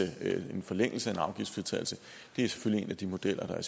en forlængelse af afgiftsfritagelsen det er selvfølgelig en af de modeller der er